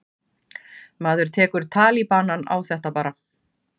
Maður tekur talibanann á þetta bara.